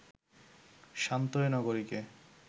শান্ত এ নগরীকে